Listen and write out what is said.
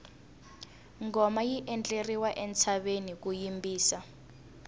ngoma yi endleriwa entshaveni ku yimbisa